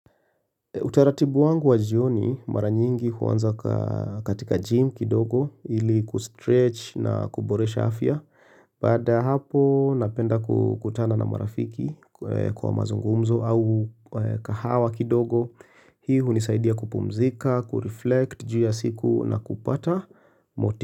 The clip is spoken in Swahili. Utaratibu wangu wa jioni mara nyingi huaanza katika gym kidogo ili kustretch na kuboresha afya. Baada ya hapo napenda kukutana na marafiki kwa mazungumzo au kahawa kidogo. Hii hunisaidia kupumzika, kureflect juu ya siku na kupata moti.